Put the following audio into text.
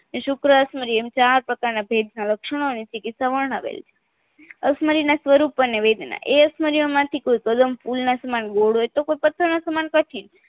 એ સુક્ર અક્ષમયિ એમ ચાર પ્રકારના ભેદના લક્ષણો અને ચીકીત્સા વર્ણવેલ છે અક્ષમયીના સ્વરૂપ અને વેદના એ અક્ષમરિયો માંથી કોઈ કદમ ફૂલ ના સમાન ગોળ હોય તો કોઈ પથ્થર ના સમાન કઠિન